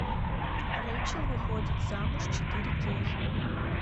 рейчел выходит замуж четыре кей